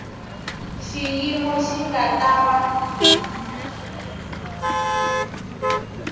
xiyimo xi nga ta va